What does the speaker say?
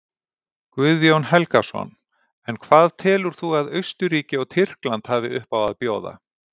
Guðjón Helgason: En hvað telur þú að Austurríki og Tyrkland hafi uppá að bjóða?